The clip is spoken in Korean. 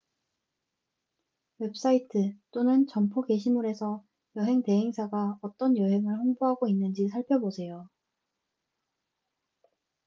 웹사이트 또는 점포 게시물에서 여행 대행사가 어떤 여행을 홍보하고 있는지 살펴보세요